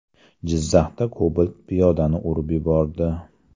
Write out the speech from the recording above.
Jizzaxda Cobalt piyodani urib yubordi.